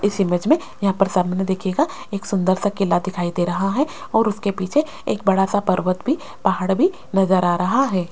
इस इमेज में यहां पर सामने देखिएगा एक सुंदर सा किला दिखाई दे रहा है और उसके पीछे एक बड़ा सा पर्वत भी पहाड़ भी नजर आ रहा है।